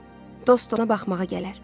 Dost dostuna baxmağa gələr.